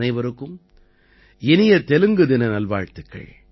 அனைவருக்கும் இனிய தெலுங்கு தின நல்வாழ்த்துக்கள்